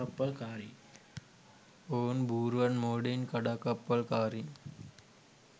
ඔවුන් බූරුවන් මෝඩයින් කඩාකප්පල්කාරීන්